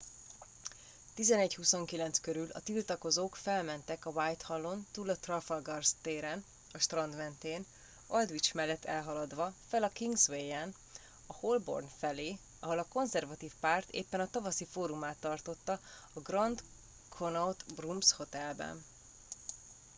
11:29 körül a tiltakozók felmentek a whitehall on túl a trafalgar téren a strand mentén aldwych mellett elhaladva fel a kingsway en a holborn felé ahol a konzervatív párt éppen a tavaszi fórumát tartotta a grand connaught rooms hotelben